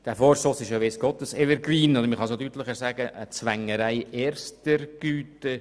Er ist ja weiss Gott ein Evergreen, oder – man könnte es auch deutlicher sagen – eine Zwängerei erster Güte.